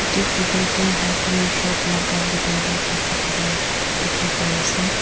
Tu photo tuh hardware shop laga bethor dae kechi thaka dekhey pai ase.